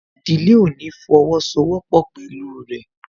Ìdílé ò ní fọwọ́ sọ wọ́pọ̀ pẹ̀lú rẹ̀